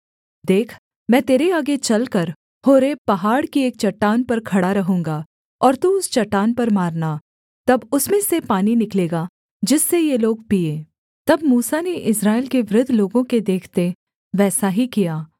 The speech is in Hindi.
देख मैं तेरे आगे चलकर होरेब पहाड़ की एक चट्टान पर खड़ा रहूँगा और तू उस चट्टान पर मारना तब उसमें से पानी निकलेगा जिससे ये लोग पीएँ तब मूसा ने इस्राएल के वृद्ध लोगों के देखते वैसा ही किया